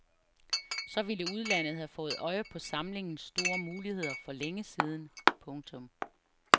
Så ville udlandet have fået øje på samlingens store muligheder for længe siden. punktum